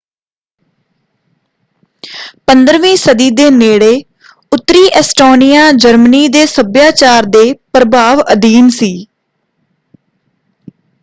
15ਵੀਂ ਸਦੀ ਦੇ ਨੇੜੇ ਉੱਤਰੀ ਐਸਟੋਨੀਆ ਜਰਮਨੀ ਦੇ ਸੱਭਿਆਚਾਰ ਦੇ ਪ੍ਰਭਾਵ ਅਧੀਨ ਸੀ।